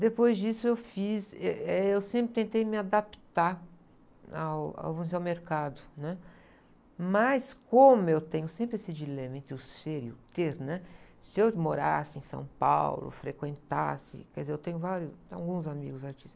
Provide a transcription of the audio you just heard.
Depois disso eu fiz, êh, eh, eu sempre tentei me adaptar ao, ao, vamos dizer, ao mercado, né? Mas como eu tenho sempre esse dilema entre o ser e o ter, né? Se eu morasse em São Paulo, frequentasse, quer dizer, eu tenho vários, tenho alguns amigos artistas,